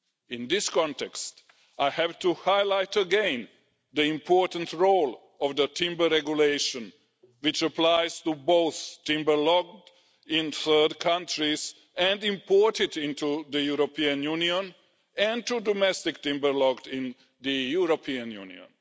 In this context, I have to highlight again the important role of the Timber Regulation, which applies to both timber logged in third countries and imported into the European Union and to domestic timber logged in the European Union.